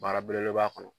Baara belebeleba kɔnɔ